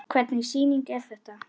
Hvernig sýning er þetta?